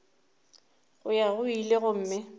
go ya go ile gomme